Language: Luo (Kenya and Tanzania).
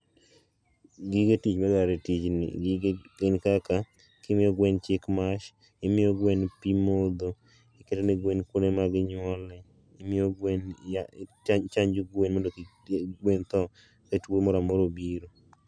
Gige tich ma adwaro e tijni gin kaka imiyo gwen chik mash, imiyo gwen pimodho, igero ne gwen kuonde ma ginyuole, imiyo gwen yath ichanjo gwen, mondo kik gwen thoo ka tuo moro amora obiro